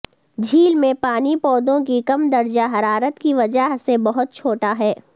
جھیل میں پانی پودوں کی کم درجہ حرارت کی وجہ سے بہت چھوٹا ہے